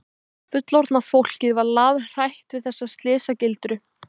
Fullorðna fólkið var lafhrætt við þessa slysagildru.